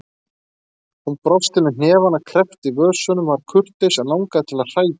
Hún brosti með hnefana kreppta í vösunum, var kurteis en langaði til að hrækja.